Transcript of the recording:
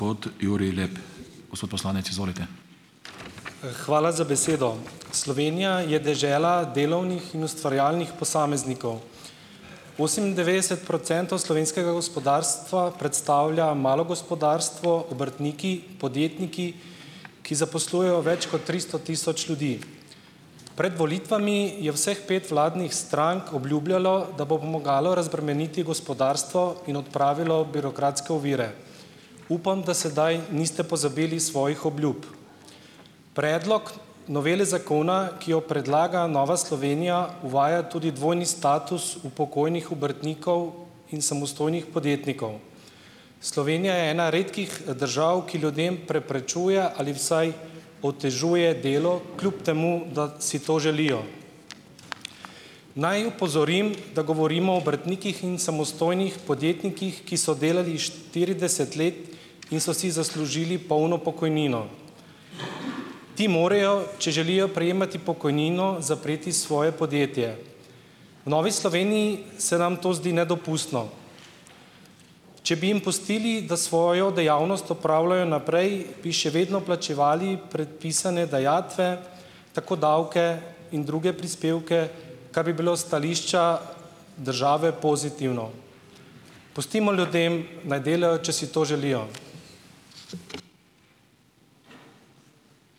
Hvala za besedo! Slovenija je dežela delovnih in ustvarjalnih posameznikov. Osemindevetdeset procentov slovenskega gospodarstva predstavlja malo gospodarstvo, obrtniki, podjetniki, ki zaposlujejo več kot tristo tisoč ljudi. Pred volitvami je vseh pet vladnih strank obljubljalo, da bo pomagalo razbremeniti gospodarstvo in odpravilo birokratske ovire. Upam, da sedaj niste pozabili svojih obljub. Predlog novele zakona, ki jo predlaga Nova Slovenija uvaja tudi dvojni status upokojenih obrtnikov in samostojnih podjetnikov. Slovenija je ena redkih držav, ki ljudem preprečuje ali vsaj otežuje delo, kljub temu, da si to želijo. Naj opozorim, da govorimo o obrtnikih in samostojnih podjetnikih, ki so delali štirideset let in so si zaslužili polno pokojnino. Ti morajo, če želijo prejemati pokojnino, zapreti svoje podjetje. V Novi Sloveniji se nam to zdi nedopustno. Če bi jim pustili, da svojo dejavnost opravljajo naprej, bi še vedno plačevali predpisane dajatve, tako davke in druge prispevke, kar bi bilo s stališča države pozitivno. Pustimo ljudem, naj delajo, če si to želijo.